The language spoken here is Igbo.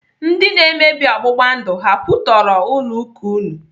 Ndi na-emebi ọgbụgba ndụ ha kwụtọrọ ụlọ ụka unu?